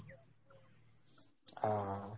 আহ